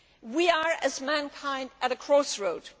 We are, as mankind, at a crossroads.